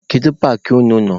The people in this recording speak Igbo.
Kedu paakị unu nọ?